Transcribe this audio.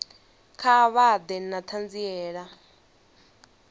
kha vha ḓe na ṱhanziela